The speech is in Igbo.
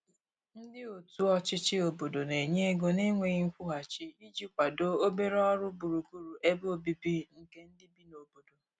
ndi otu ochichi obodo n'enye ego na nweghi nkwuhachi iji kwado obere ọrụ gburugburu ebe ọbìbi nke ndi bi n'obodo